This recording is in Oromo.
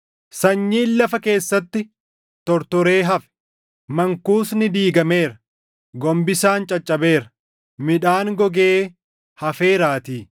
Sanyiin lafa keessatti tortoree hafe. Mankuusni diigameera; gombisaan caccabeera; midhaan gogee hafeeraatii.